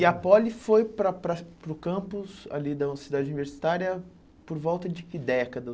E a Poli foi para para para o campus ali da Universidade Universitária por volta de que década?